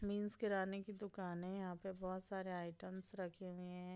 Means किरणे की दुकाने है यहाँ पर बहोत सारे आइटम्स रखे हुए है।